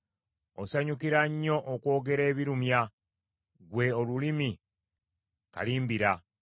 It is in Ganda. Osanyukira nnyo okwogera ebirumya. Ggwe olulimi kalimbira!